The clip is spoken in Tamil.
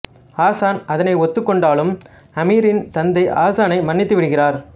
ஹசன் அதனை ஒத்துக் கொண்டாலும் அமீரின் தந்தை ஹசனை மன்னித்து விடுகிறார்